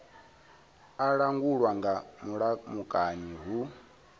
a langulwa nga mulamukanyi hu